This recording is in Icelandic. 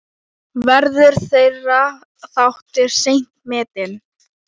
Verður þeirra þáttur seint metinn.